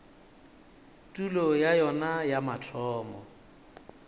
tulo ya yona ya mathomo